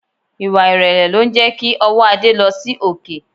Ìwà ìrẹ̀lẹ̀ lo ń jẹ́ kí ọwọ́ Ade lọ sí òkè